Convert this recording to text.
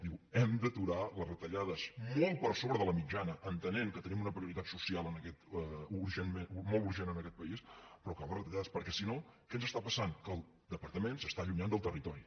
dir hem d’aturar les retallades molt per sobre de la mitjana entenent que tenim una prioritat social molt urgent en aquest país però acabar les retallades perquè si no què ens està passant que el departament s’està allunyant del territori